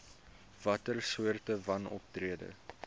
watter soorte wanoptrede